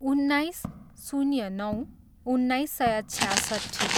उन्नाइस, शून्य नौ, उन्नाइस सय छयासट्ठी